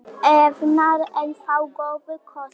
Evran enn þá góður kostur